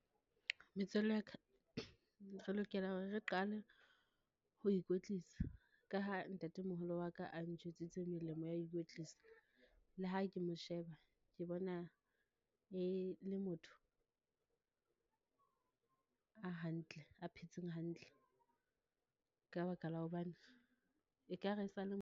Metswalle ya ka, re lokela hore re qale ho ikwetlisa ka ha ntatemoholo wa ka a ntjwetsitse melemo ya ho ikwetlisa. Le ha ke mo sheba, ke bona e le motho a hantle, a phetseng hantle ka baka la hobane, e kare e sa le.